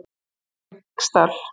Sælingsdal